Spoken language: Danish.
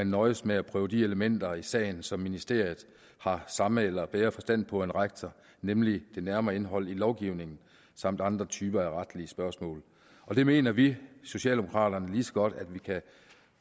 nøjes med at prøve de elementer i sagen som ministeriet har samme eller bedre forstand på end rektor nemlig det nærmere indhold i lovgivningen samt andre typer af retlige spørgsmål det mener vi socialdemokrater lige så godt at vi kan